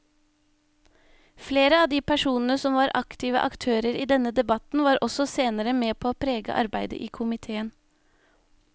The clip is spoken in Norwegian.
Flere av de personene som var aktive aktører i denne debatten var også senere med på å prege arbeidet i komiteen.